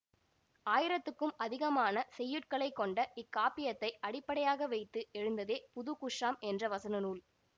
ஆயிரத்துக்கும் அதிகமான செய்யுட்களை கொண்ட இக்காப்பியத்தை அடிப்படையாக வைத்து எழுந்ததே புதுகுஷ்ஷாம் என்ற வசன நூல்